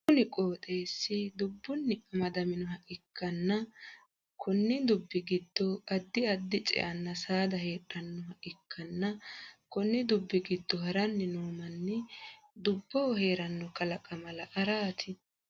Kunni qooxeesi dubunni amadaninoha ikanna konni dubi gido addi addi ce'anna saada heedhanoha ikanna konni dubbi gido haranni noo manni doboho heerano kalaqama la'raati.